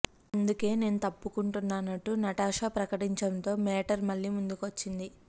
అందుకే నేను తప్పుకున్నానంటూ నటాషా ప్రకటించడంతో మేటర్ మళ్లీ మొదటికి వచ్చింది